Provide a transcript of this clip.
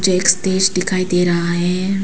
मुझे एक स्टेज दिखाई दे रहा है।